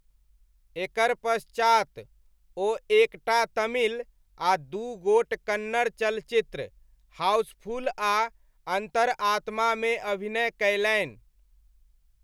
एकर पश्चात, ओ एक टा तमिल आ दू गोट कन्नड़ चलचित्र, हाउसफुल आ अन्तरात्मामे अभिनय कयलनि।